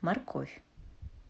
морковь